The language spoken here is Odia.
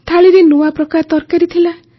ଥାଳିରେ ନୂଆ ପ୍ରକାର ତରକାରୀ ଥିଲା